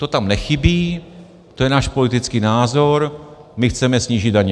To tam nechybí, to je náš politický názor, my chceme snížit daně.